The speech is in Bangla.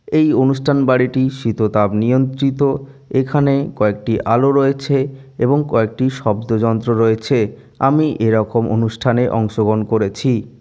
এই অনুষ্ঠান বাড়িটি শীততাপ নিয়ন্ত্রিত। এখানে কয়েকটি আলো রয়েছে এবং কয়েকটি শব্দযন্ত্র রয়েছে। আমি এরকম অনুষ্ঠানে অংশগ্রহণ করেছি।